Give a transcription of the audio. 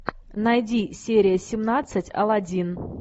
найди серия семнадцать алладин